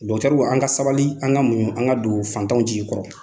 an ka sabali an ka muɲu an ka don fantanw jigi kɔrɔ.